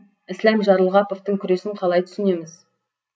ісләм жарылғаповтың күресін қалай түсінеміз